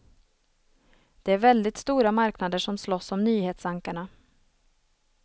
Det är väldigt stora marknader som slåss om nyhetsankarna.